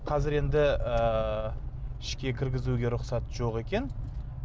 қазір енді ыыы ішке кіргізуге рұқсат жоқ екен